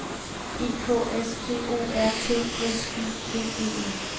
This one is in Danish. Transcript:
E K S P O R T S I D E N